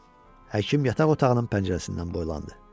Həkim yataq otağının pəncərəsindən boylandı.